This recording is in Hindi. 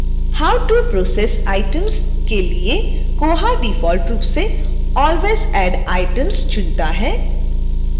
how to process items के लिए koha डिफॉल्ट रूप से always add items चुनता है